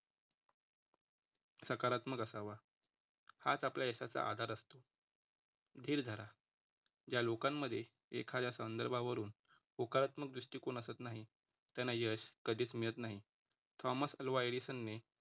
सकारात्मक असावा. हाच आपल्या यशाचा आधार असतो. धीर धरा. या लोकांमध्ये एखाद्या संदर्भावरून होकारात्मक दृष्टिकोन असत नाही त्यांना यश कधीच मिळत नाही. थॉमस अल्वा एडिसन ने